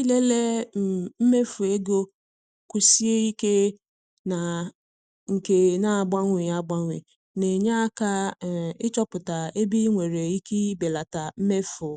Ịlele um mmefu ego kwụsie ike na nke na-agbanwe agbanwe na-enye aka um ịchọpụta ebe ị nwere ike belata mmefu